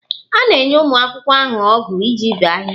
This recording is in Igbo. A na-enye ụmụ akwụkwọ ahụ ọgụ iji bee ahịhịa